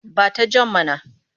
Ba ta jan mana!